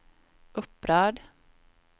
upprörd